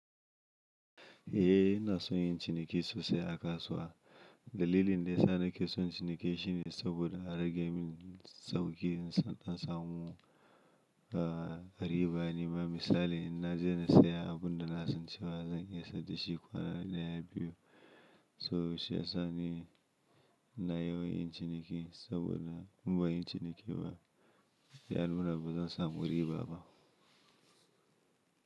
Eh ina son yin ciniki sosai a kasuwa. Dalilin da ya sa nake son ciniki shine saboda a rage min sauƙi in son na samu, riba nema misali in na je na saya abun da na san cewa zan iya saida shi kwana ɗaya biyu, so shi ya sa ni ina yawan yin ciniki saboda in banyi ciniki ba, yanuna ba zan samu riba ba.